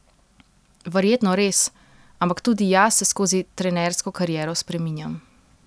Verjetno res, ampak tudi jaz se skozi trenersko kariero spreminjam.